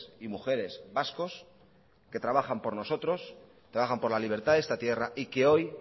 y mujeres vascos que trabajan por nosotros por la libertad de esta tierra y que hoy